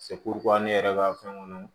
ne yɛrɛ ka fɛn minnu